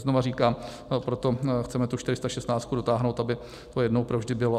Znova říkám, proto chceme tu 416 dotáhnout, aby to jednou provždy bylo.